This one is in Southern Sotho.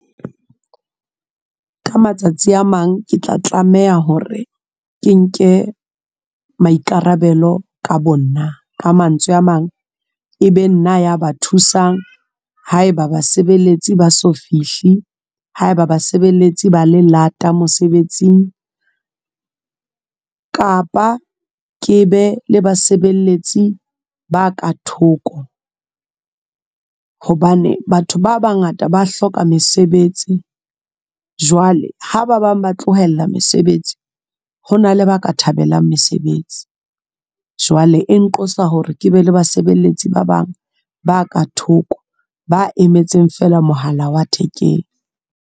Ka matsatsi a mang ke tla tlameha hore ke nke maikarabelo ka bo nna, ka mantswe a mang e be nna ya ba thusang ha eba basebeletsi ba so fihle, haeba basebeletsi ba le lata mosebetsing kapa ke be le basebeletsi ba ka thoko hobane batho ba bangata ba hloka mesebetsi, jwale ha ba bang ba tlohella mesebetsi hona le ba ka thabelang mesebetsi. Jwale e nqosa hore ke be le basebeletsi ba bang ba ka thoko, ba emetseng fela mohala wa thekeng.